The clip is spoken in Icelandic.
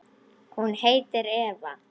Hún heitir Eva.